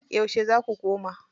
Yauce za ku koma?